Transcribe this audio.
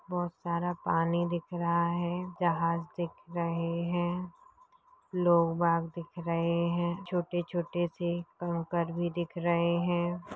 बहुत सारा पानी दिख रहा है जहाज दिख रहे है लोग रहे है छोटे-छोटे से कंकर भी दिख रहे है।